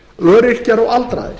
öryrkjar og aldraðir